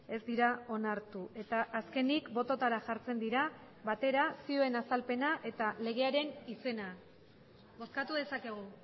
ez dira onartu eta azkenik bototara jartzen dira batera zioen azalpena eta legearen izena bozkatu dezakegu